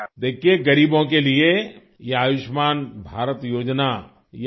دیکھئے غریبوں کے لیے یہ آیوشمان بھارت اسکیم یہ اپنے آپ میں